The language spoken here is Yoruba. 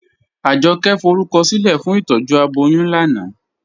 Ajọkẹ̀ fọrúkọsilẹ̀ fún ìtọ́jú abọ́yún lánà